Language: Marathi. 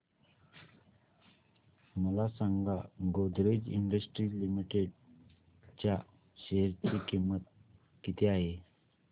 मला सांगा गोदरेज इंडस्ट्रीज लिमिटेड च्या शेअर ची किंमत किती आहे